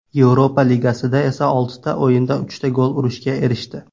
Yevropa Ligasida esa oltita o‘yinda uchta gol urishga erishdi.